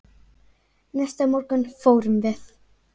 Næsta morgun fórum við